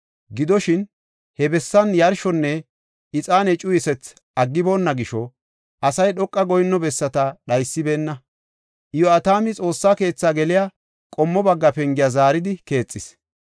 Gidoshin, he bessan yarshonne ixaane cuyisethi aggiboonna gisho, asay dhoqa goyinno bessata dhaysibeenna. Iyo7atami Xoossa keetha geliya qommo bagga pengiya zaaridi keexis.